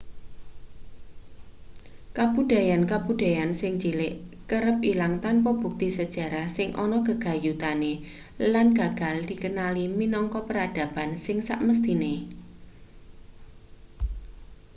kabudayan-kabudayan sing cilik kerep ilang tanpa bukti sejarah sing ana gegayutane lan gagal dikenali minangka peradaban sing samesthine